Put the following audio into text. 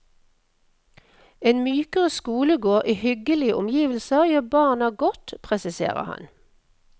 En mykere skolegård i hyggelige omgivelser, gjør barna godt, presiserer han.